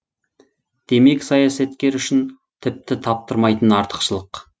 демек саясаткер үшін тіпті таптырмайтын артықшылық